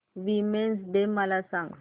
women's day मला सांग